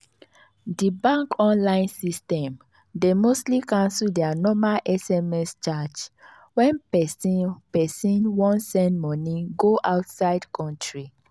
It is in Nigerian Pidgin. the bank online system dey mostly cancel their normal sms charge when person person wan send money go outside country.